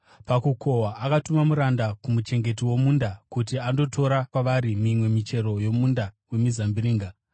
Pakukohwa akatuma muranda kumuchengeti womunda kuti andotora kwavari mimwe michero yomunda wemizambiringa.